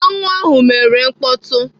Aṅụ ahụ mere mkpọtụ.